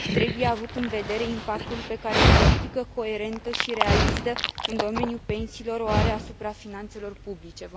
Trebuie avut în vedere impactul pe care o politică coerentă și realistă în domeniul pensiilor o are asupra finanțelor publice.